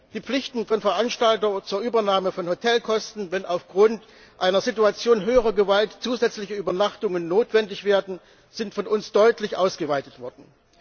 Die Pflichten von Veranstaltern zur Übernahme von Hotelkosten, wenn aufgrund einer Situation höherer Gewalt zusätzliche Übernachtungen notwendig werden, sind von uns deutlich ausgeweitet worden.